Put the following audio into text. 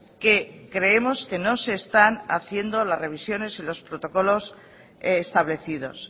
que creemos que no se están haciendo las revisiones y los protocolos establecidos